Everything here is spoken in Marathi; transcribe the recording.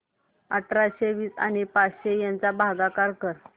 अठराशे वीस आणि पाच यांचा भागाकार कर